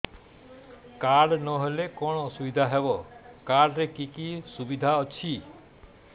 card ନହେଲେ କଣ ଅସୁବିଧା ହେବ କାର୍ଡ ରେ କି କି ସୁବିଧା ଅଛି